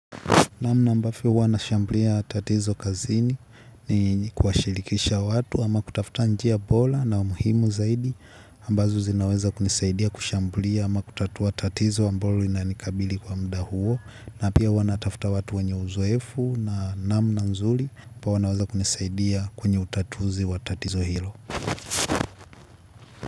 Namna ambavyo huwa na shambulia tatizo kazini ni kuwa shirikisha watu ama kutafuta njia bora na muhimu zaidi ambazo zinaweza kunisaidia kushambulia ama kutatua tatizo ambalo linanikabili kwa mda huo na pia huwa natafuta watu wenye uzoefu na namna nzuri pa wanaweza kunisaidia kwenye utatuzi wa tatizo hilo.